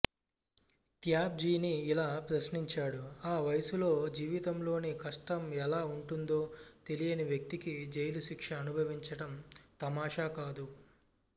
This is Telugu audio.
త్యాబ్జీని ఇలా ప్రశంసించాడుఆ వయస్సులో జీవితంలోని కష్టం ఎలా ఉంటుందో తెలియని వ్యక్తికి జైలు శిక్ష అనుభవించడం తమాషా కాదు